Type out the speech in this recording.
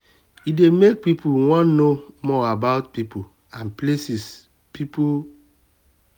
e dey make person wan know more about pipo and places pipo and places